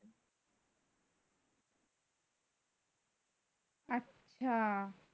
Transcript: আচ্ছা